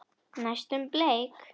Næstum bleik.